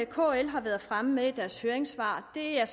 kl har været fremme med i deres høringssvar er